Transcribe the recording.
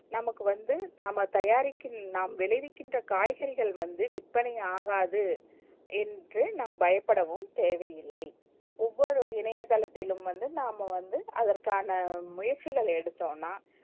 நமக்கு வந்து நாம தயாரிக்கும் நாம் விளைவிக்கின்ற காய்கறிகள் வந்து விற்பனை ஆகாது என்று நாம் பயபுடவும் தேவை இல்லை ஒவ்வொரு இணையதளத்திலும் வந்து நாம வந்து அதற்கான முயற்ச்சிகள் எடுத்தொனா